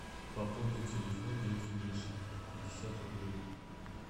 пополнить телефон дяди миши пятьдесят рублей